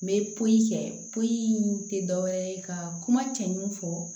N bɛ pɔli kɛ poyi tɛ dɔ wɛrɛ ye ka kuma cɛɲuman fɔ